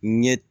Ɲɛ